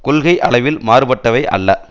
கொள்கை அளவில் மாறுபட்டவை அல்ல